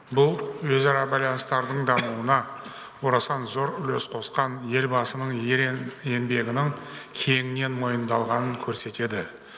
бұл өзара байланыстардың дамуына орасан зор үлес қосқан елбасының ерең еңбегінің кеңінен мойындалғанын көрсетеді